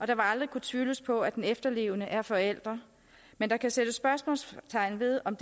der vil aldrig kunne tvivles på at den efterlevende er forælder men der kan sættes spørgsmålstegn ved om